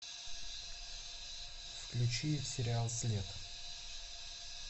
включи сериал след